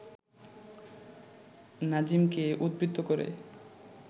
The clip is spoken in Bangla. নাজিমকে উদ্ধৃত করে